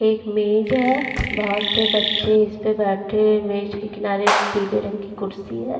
एक मेज है बहोत से बच्चे इस पे बैठे मेज़ के किनारे पीले रंग की कुर्सी है।